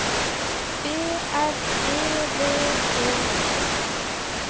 B R E V E T